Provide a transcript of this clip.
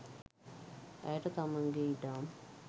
ඇයට තමන්ගේ ඉඩම්